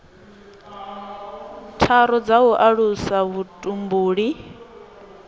tharu dza u alusa vhutumbuli